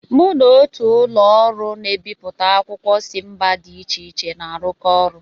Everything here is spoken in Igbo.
Mụ na otù ụlọ ọrụ na-ebipụta akwụkwọ si mba dị iche iche na-arụkọ ọrụ.